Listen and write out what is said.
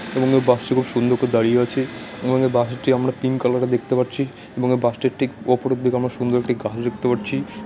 এবং ওই বাস টি খুব সুন্দর করে দাঁড়িয়ে আছে এবং বাস টি আমরা পিংক কালার -এর দেখতে পারছি এবং বাস টির ঠিক উপরের দিকে আমরা সুন্দর একটি গাছ দেখতে পারছি।